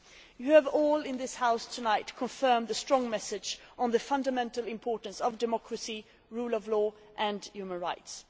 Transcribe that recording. You have all in this House tonight confirmed the strong message on the fundamental importance of democracy, the rule of law and human rights.